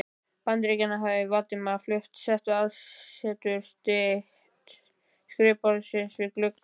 Bandaríkjanna, hafði Valdimar flutt aðsetur sitt til skrifborðsins við gluggann.